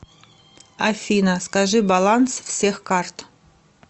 афина скажи баланс всех карт